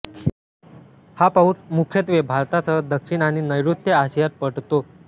हा पाउस मुख्यत्वे भारतासह दक्षिण आणि नैऋत्य आशियात पडतो